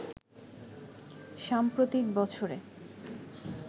সাম্প্রতিক বছরে